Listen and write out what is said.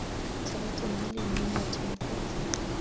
tshegetso mme lindi nyati mokotso